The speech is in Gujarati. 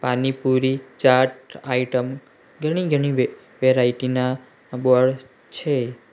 પાણીપુરી ચાટ આઈટમ ઘણી-ઘણી વે વેરાઈટી ના બોર્ડ છે.